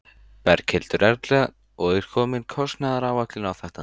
Berghildur Erla: Og er komin kostnaðaráætlun á þetta?